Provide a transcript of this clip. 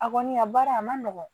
A kɔni a baara a man nɔgɔn